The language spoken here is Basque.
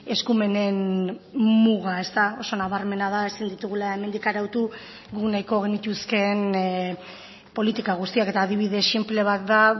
eskumenen muga oso nabarmena da ezin ditugula hemendik arautu guk nahiko genituzkeen politika guztiak eta adibide sinple bat da atzo